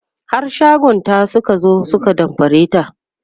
har shagonta Suka zo su ka damfare ta